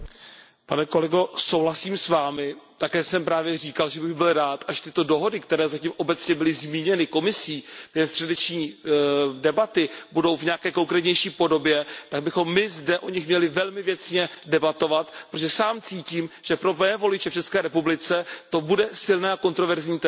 Pane kolego, souhlasím s Vámi, také jsem právě říkal, že bych byl rád, až tyto dohody, které zatím obecně byly zmíněny Komisí během středeční debaty, budou mít nějakou konkrétnější podobě, abychom o nich zde velmi věcně debatovali, protože sám cítím, že pro mé voliče v České republice to bude silné a kontroverzní téma.